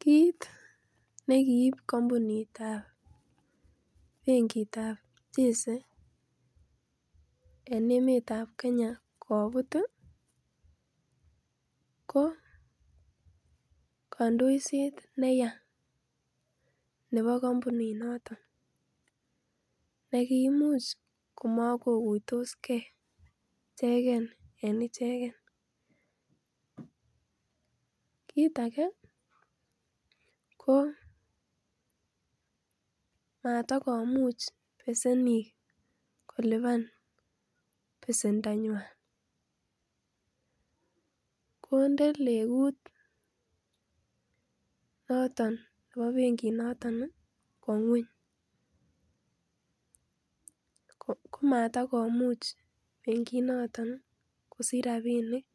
Kit ne kiib kampunitab benkitab chase en emetab kenya kobut ii ko kandoiset neya nebo kampuninoton nekimuch komokokuitos gee icheken en icheken, kit age koo matakumuch besenik kolipan besendanywan kondee legut noton ne bo benki noton kwon ngweny komatakomuch benki noton kosich rapinik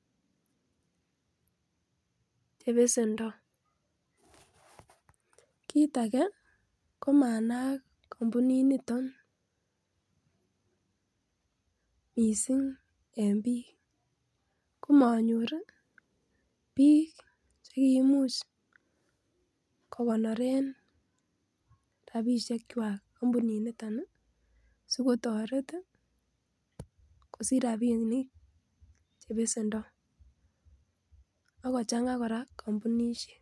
che besendoo kit age kora komanaak kampuninito missing en biik komonyor biik chekiimuch kokonoren rapiekchwak kampuniniton sikotoret ii kosich rapinik che besendoo akochangaa kora kampunishek.